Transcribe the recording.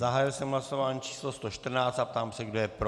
Zahájil jsem hlasování číslo 114 a ptám se, kdo je pro.